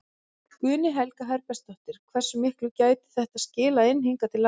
Guðný Helga Herbertsdóttir: Hversu miklu gæti þetta skilað inn hingað til lands?